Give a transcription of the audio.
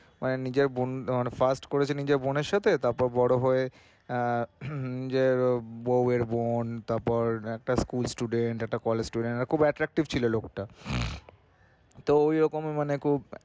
and নিজের বোন first করেছে নিজের বোনের সাথে তারপর বড় হয়ে আহ নিজের বৌ এর বোন তারপর একটা school student একটা college student আর খুব attractive ছিলো লোকটা। তো এরকমই মানে খুব